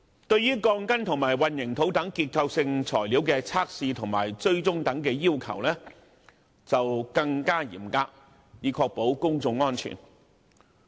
對於鋼筋及混凝土等結構性材料的測試及追蹤等要求則更為嚴格，以確保公眾安全。